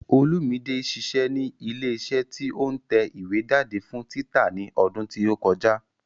Olúmide ṣiṣẹ́ ní ilé iṣẹ́ tí ó ń tẹ ìwé jáde fún títa ní ọdún tí ó kọjá